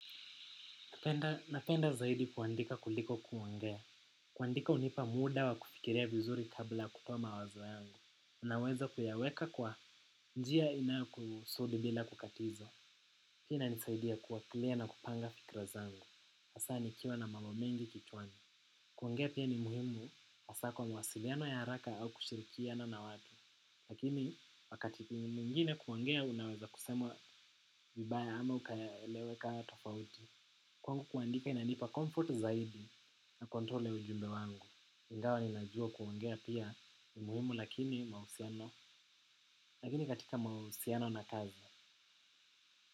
Napenda zaidi kuandika kuliko kuongea. Kuandika hunipa muda wa kufikiria vizuri kabla kupa mawazo yangu. Unaweza kuyaweka kwa. Njia inayokusudi bila kukatiza. Pia inanisaidia kuwa clear na kupanga fikra zangu. Hasa nikiwa na mambo mengi kichwani. Kuongea pia ni muhimu. Hasa kwa mawasiliano ya haraka au kushirikiana na watu. Lakini wakati mwingine kuongea unaweza kusemwa vibaya ama ukaeleweka tofauti. Kwangu kuandika inanipa comfort zaidi na control ya ujumbe wangu. Ingawa ninajua kuongea pia ni muhimu lakini mahusiano lakini katika mahusiano na kazi.